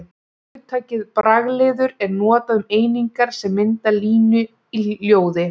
Hugtakið bragliður er notað um einingar sem mynda línu í ljóði.